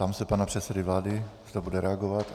Ptám se pana předsedy vlády, zda bude reagovat.